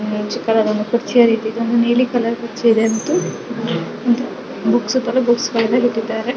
ಒಂದು ನೀಲಿ ಕಲರ್ ಕುರ್ಚಿ ಇದೆ ಮತ್ತು ಬುಕ್ಸಗಳು ಬುಕ್ಸ್ ಸಾಲಿನಲ್ಲಿ ಇಟ್ಟಿದ್ದಾರೆ.